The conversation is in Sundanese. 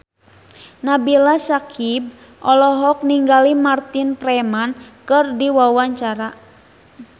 Nabila Syakieb olohok ningali Martin Freeman keur diwawancara